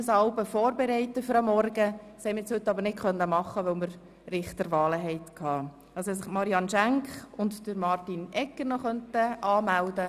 Nun bitte ich zuerst Grossrat Ruchti sich einzutragen, dann Grossrätin Beutler, Grossrätin Zryd, Grossrätin Schenk und schliesslich Grossrat Egger.